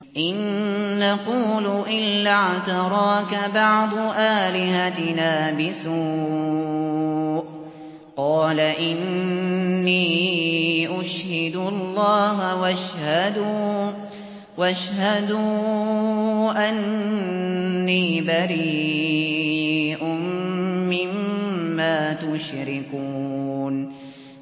إِن نَّقُولُ إِلَّا اعْتَرَاكَ بَعْضُ آلِهَتِنَا بِسُوءٍ ۗ قَالَ إِنِّي أُشْهِدُ اللَّهَ وَاشْهَدُوا أَنِّي بَرِيءٌ مِّمَّا تُشْرِكُونَ